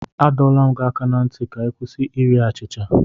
Adọla m gị aka ná ntị ka ị kwụsị iri achịcha!